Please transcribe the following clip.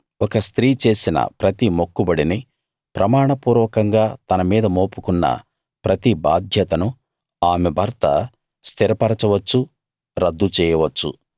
ఒక స్త్రీ చేసిన ప్రతి మొక్కుబడిని ప్రమాణపూర్వకంగా తన మీద మోపుకొన్న ప్రతి బాధ్యతను ఆమె భర్త స్థిరపరచవచ్చు రద్దు చేయవచ్చు